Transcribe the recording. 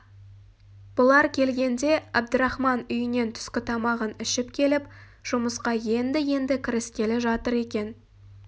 бұлар келгенде әбдірахман үйінен түскі тамағын ішіп келіп жұмысқа енді-енді кіріскелі жатыр екен